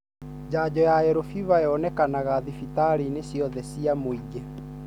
Janjo ya Yellow fever yonekanaga thibitarĩinĩ ciothe cia mũingi.